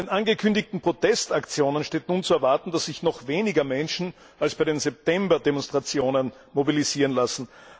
Bei den angekündigten Protestaktionen steht nun zu erwarten, dass sich noch weniger Menschen als bei den September Demonstrationen mobilisieren lassen.